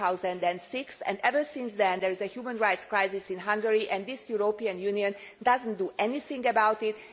2006. Ever since then, there has been a human rights crisis in Hungary, and this European Union does not do anything about it.